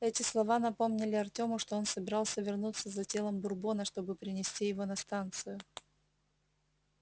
эти слова напомнили артему что он собирался вернуться за телом бурбона чтобы принести его на станцию